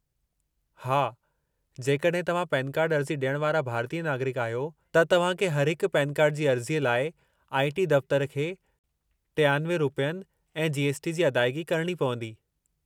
हा, जेकॾहिं तव्हां पेन कार्ड अर्ज़ी ॾियण वारा भारतीय नागरिकु आहियो, त तव्हां खे हर हिक पेन कार्ड जी अर्ज़ीअ लाइ आई. टी. दफ़्तर खे 93 रुपयनि ऐं जी. एस. टी. जी अदायगी करणी पवंदी।